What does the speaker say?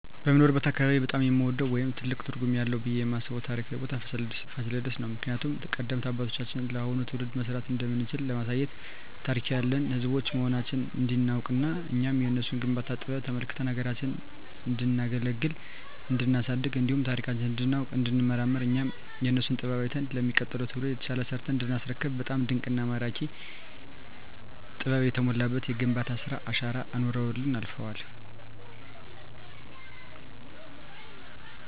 በምኖርበት አካባቢ በጣም የምወደው ወይም ትልቅ ትርጉም አለዉ ብየ የማስበው ታሪካዊ ቦታ ፋሲለደስ ነው። ምክንያቱም ቀደምት አባቶቻችን ለአሁኑ ትውልድ መስራት እንደምንችል ለማሳየት ታሪክ ያለን ህዝቦች መሆናችንን እንዲናውቅና እኛም የነሱን የግንባታ ጥበብ ተመልክተን ሀገራችንን እንዲናገለግልና እንዲናሳድግ እንዲሁም ታሪካችንን እንዲናውቅ እንዲንመራመር እኛም የነሱን ጥበብ አይተን ለሚቀጥለው ትውልድ የተሻለ ሰርተን እንዲናስረክብ በጣም ድንቅና ማራኪ ጥበብ የተሞላበት የግንባታ ስራ አሻራ አኑረውልን አልፈዋል።